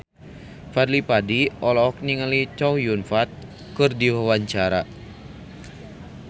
Fadly Padi olohok ningali Chow Yun Fat keur diwawancara